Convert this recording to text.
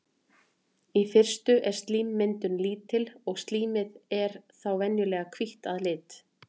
í fyrstu er slímmyndun lítil og slímið er þá venjulega hvítt að lit